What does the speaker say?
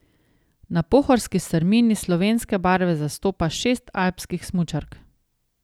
Na pohorski strmini slovenske barve zastopa šest alpskih smučark.